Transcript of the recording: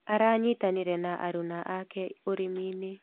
Aranyitanĩire na aruna ake ũrĩminĩ.